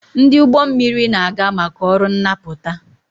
Ndị ụgbọ mmiri na-aga maka ọrụ nnapụta